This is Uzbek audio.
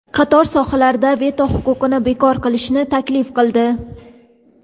qator sohalarda veto huquqini bekor qilishni taklif qildi.